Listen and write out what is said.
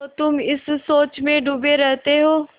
तो तुम इस सोच में डूबे रहते हो